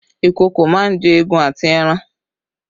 Ìkokò máa ń jẹ egun àti ẹran